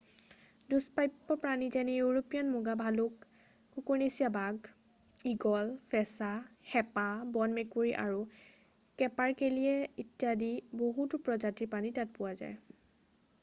দুষ্পাপ্য প্ৰাণী যেনে ইউৰোপীয়ান মুগা ভালক কুকুৰনেচীয়া বাঘ ঈগল ফেঁচা হেঁপা বন মেকুৰী আৰু কেপাৰকেলিয়ে ইত্যাদি বহুতো প্ৰজাতিৰ প্ৰাণী তাত পোৱা যাব পাৰে